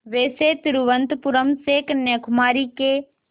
वैसे तिरुवनंतपुरम से कन्याकुमारी के